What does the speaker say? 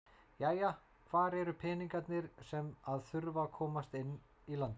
Jæja hvar eru peningarnir sem að þurfa að komast inn í landið?